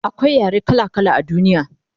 akwai yare kala kala a duniya